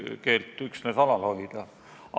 Mina ei näe selle eelnõu kvaliteedis küll mingisuguseid probleeme.